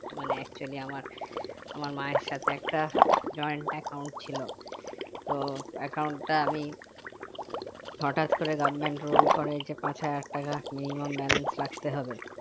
মানে actually আমার আমার মায়ের সাথে একটা joint account ছিল তো account টা আমি হঠাৎ করে government rules করে যে পাঁচ হাজার টাকা minimum balance রাখতে হবে